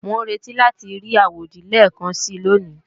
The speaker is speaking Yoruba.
Mò ń retí láti rí àwòdì lẹ́ẹ̀kansi lóní